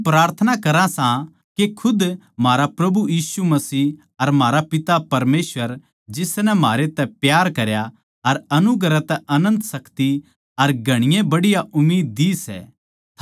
हम प्रार्थना करां सां के खुद म्हारा प्रभु यीशु मसीह अर म्हारा पिता परमेसवर जिसनै म्हारै तै प्यार करया अर अनुग्रह तै अनन्त शान्ति अर घणी बढ़िया उम्मीद देई सै